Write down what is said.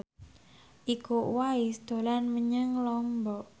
Iko Uwais dolan menyang Lombok